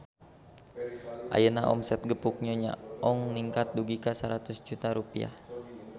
Ayeuna omset Gepuk Nyonya Ong ningkat dugi ka 100 juta rupiah